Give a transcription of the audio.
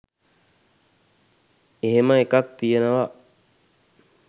එහෙම එකක් තියෙනවා